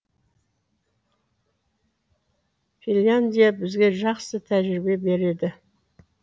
финляндия бізге жақсы тәжірибе береді